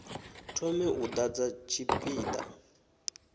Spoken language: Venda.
thome u ḓadza tshipi ḓa